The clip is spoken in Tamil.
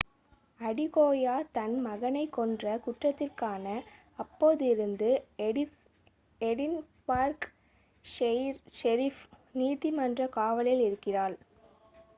அடிகோயா தன் மகனை கொன்ற குற்றத்திற்காக அப்போதிலிருந்து எடின்பர்க் ஷெரிஃப் நீதி மன்ற காவலில் இருக்கிறாள்